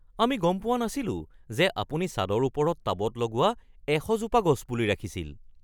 আমি গম পোৱা নাছিলোঁ যে আপুনি ছাদৰ ওপৰত টাবত লগোৱা ১০০ জোপা গছপুলি ৰাখিছিল